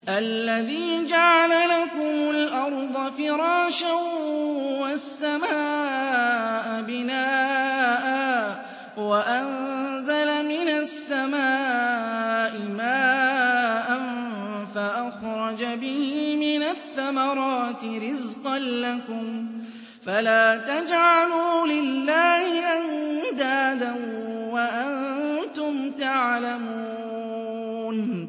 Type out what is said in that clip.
الَّذِي جَعَلَ لَكُمُ الْأَرْضَ فِرَاشًا وَالسَّمَاءَ بِنَاءً وَأَنزَلَ مِنَ السَّمَاءِ مَاءً فَأَخْرَجَ بِهِ مِنَ الثَّمَرَاتِ رِزْقًا لَّكُمْ ۖ فَلَا تَجْعَلُوا لِلَّهِ أَندَادًا وَأَنتُمْ تَعْلَمُونَ